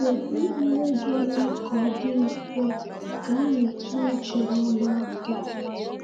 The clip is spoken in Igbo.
Kedu ihe ga-eme ka o dị mfe ka anyị tụ uche n’ọgbakọ?